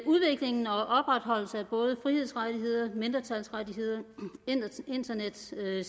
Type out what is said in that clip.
udviklingen og opretholdelsen af både frihedsrettigheder mindretalsrettigheder internetsikkerhed